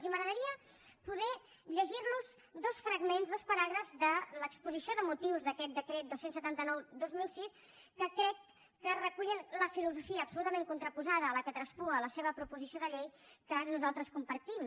i m’agradaria poder llegir los dos fragments dos paràgrafs de l’exposició de motius d’aquest decret dos cents i setanta nou dos mil sis que crec que recullen la filosofia absolutament contraposada a la que traspua la seva proposició de llei que nosaltres compartim